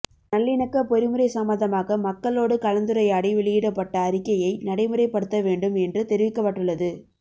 நல்லிணக்கப் பொறிமுறை சம்பந்தமாக மக்களோடு கலந்துரையாடி வெளியிடப்பட்ட அறிக்கையை நடைமுறைப்படுத்தவேண்டும் என்று தெரிவிக்கப்பட்டுள்ளது